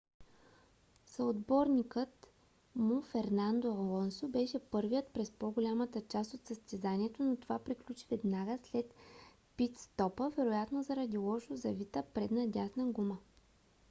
съотборникът му фернандо алонсо беше първи през по - голямата част от състезанието но това приключи веднага след пит - стопа вероятно заради лошо завита предна дясна гума